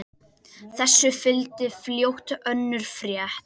Þessu fylgdi fljótt önnur frétt